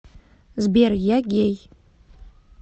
сбер я гей